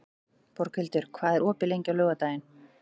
Borghildur, hvað er opið lengi á laugardaginn?